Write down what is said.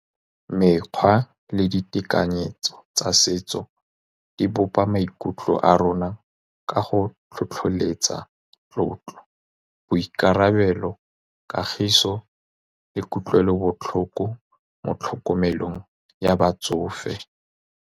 Mekgwa le ditekanyetso tsa setso, di bopa maikutlo a rona ka go tlhotlheletsa tlotlo, boikarabelo, kagiso le kutlwelobotlhoko mo tlhokomelong ya batsofe.